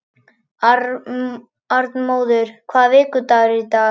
Arnmóður, hvaða vikudagur er í dag?